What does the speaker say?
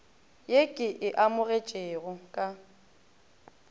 ye ke e amogetšego ka